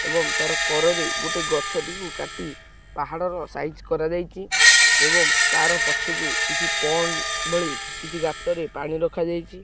ଏବଂ ତାର କର ରେ ଗୋଟେ ଗଛ ଟିକୁ କାଟି ପାହାଡ଼ର ସାଇଜ କରାଯାଇଚି ଏବଂ ତାର ପଛକୁ କିଛି ପଣ୍ଡ ଭଳି କିଛି ଗାତରେ ପାଣି ରଖାଯାଇଛି।